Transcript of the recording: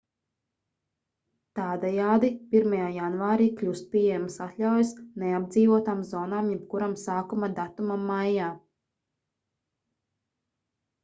tādējādi 1. janvārī kļūst pieejamas atļaujas neapdzīvotām zonām jebkuram sākuma datumam maijā